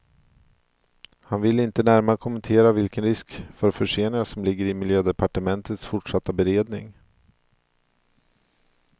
Han ville inte närmare kommentera vilken risk för förseningar som ligger i miljödepartementets fortsatta beredning.